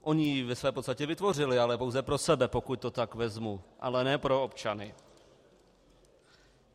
Ony ji ve své podstatě vytvořily, ale pouze pro sebe, pokud to tak vezmu, ale ne pro občany.